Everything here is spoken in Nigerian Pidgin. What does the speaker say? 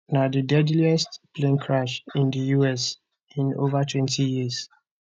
na di deadliest plane crash in di us in ovatwentyyears